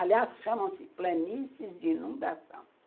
Aliás, chamam-se planícies de inundação.